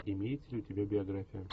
имеется ли у тебя биография